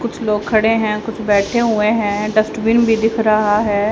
कुछ लोग खड़े हैं कुछ बैठे हुए हैं डस्टबिन भी दिख रहा है।